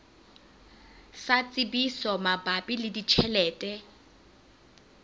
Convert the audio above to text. sa tsebiso mabapi le ditjhelete